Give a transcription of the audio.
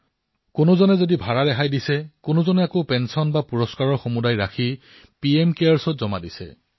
কোনোবাই ভাৰা মাফ কৰি দিছে কোনোবাই সমগ্ৰ পেঞ্চন অথবা পুৰস্কাৰত পোৱা ধন পিএমকেয়াৰ্ছত জমা দিছে